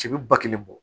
Cɛ bɛ ba kelen bɔ